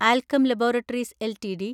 Alkem laboratories LTD